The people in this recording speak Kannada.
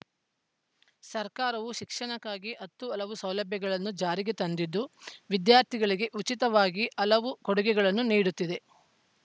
ಸರ್ಕಾರವು ಶಿಕ್ಷಣಕ್ಕಾಗಿ ಹತ್ತು ಹಲವು ಸೌಲಭ್ಯಗಳನ್ನು ಜಾರಿಗೆ ತಂದಿದ್ದು ವಿದ್ಯಾರ್ಥಿಗಳಿಗೆ ಉಚಿತವಾಗಿ ಹಲವು ಕೊಡುಗೆಗಳನ್ನು ನೀಡುತ್ತಿದೆ